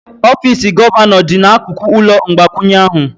Ọfịs gọvanọ dị n'akụkụ ụlọ mgbakwunye ahụ.